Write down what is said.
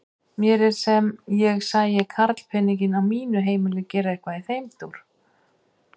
Mér er sem ég sæi karlpeninginn á mínu heimili gera eitthvað í þeim dúr!